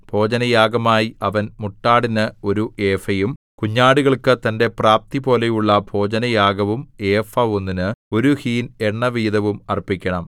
ഭോജനയാഗമായി അവൻ മുട്ടാടിന് ഒരു ഏഫയും കുഞ്ഞാടുകൾക്ക് തന്റെ പ്രാപ്തിപോലെയുള്ള ഭോജനയാഗവും ഏഫ ഒന്നിന് ഒരു ഹീൻ എണ്ണവീതവും അർപ്പിക്കണം